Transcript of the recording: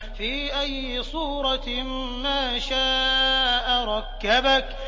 فِي أَيِّ صُورَةٍ مَّا شَاءَ رَكَّبَكَ